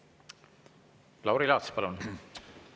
Lauri Laats, palun!